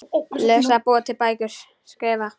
Lesa- búa til bækur- skrifa